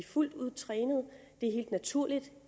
fuldt ud trænet det er helt naturligt